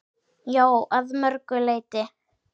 Já, að mörgu leyti.